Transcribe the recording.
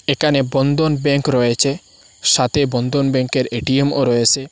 একানে বন্ধনব্যাংক রয়েছে সাথে বন্ধনব্যাংকের এটিএমও রয়েসে।